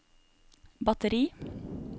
batteri